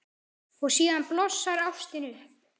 Og síðan blossar ástin upp.